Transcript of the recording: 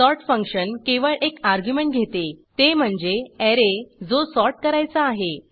sort function केवळ एक argument घेते ते म्हणजे ऍरे जो सॉर्ट करायचा आहे